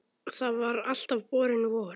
Það var alltaf borin von